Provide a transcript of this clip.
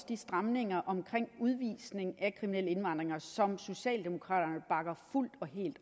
de stramninger omkring udvisning af kriminelle indvandrere som socialdemokraterne bakker fuldt og helt